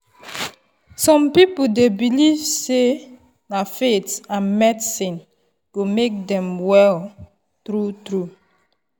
some people dey believe sey na faith and medicine go make dem well true-true.